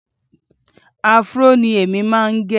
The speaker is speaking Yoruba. Áfúró ni èmi máa ń gẹ